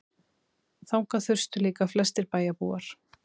Þangað þustu líka flestir bæjarbúar.